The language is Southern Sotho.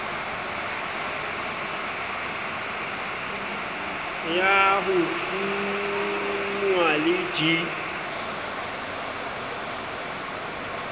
ya ho thonngwa le d